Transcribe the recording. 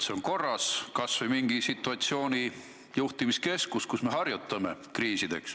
See võiks korras olla, olla kas või mingi situatsiooni juhtimise keskus, kus me harjutame kriisideks.